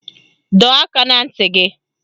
Dọọ aka na ntị gị